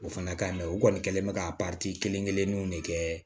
O fana ka ɲi u kɔni kɛlen bɛ ka kelen-kelenninw de kɛ